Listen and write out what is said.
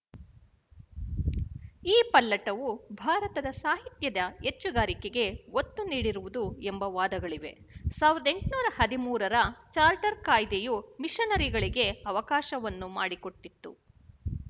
ಈ ಪಲ್ಲಟವು ಭಾರತದ ಸಾಹಿತ್ಯದ ಹೆಚ್ಚುಗಾರಿಕೆಗೆ ಒತ್ತು ನೀಡಿರುವುದು ಎಂಬ ವಾದಗಳಿವೆ ಸಾವಿರದ ಎಂಟುನೂರ ಹದಿಮೂರರ ಚಾರ್ಟರ್ ಕಾಯ್ದೆಯು ಮಿಶನರಿಗಳಿಗೆ ಅವಕಾಶವನ್ನು ಮಾಡಿಕೊಟ್ಟಿತು